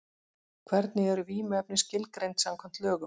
Hvernig eru vímuefni skilgreind samkvæmt lögum?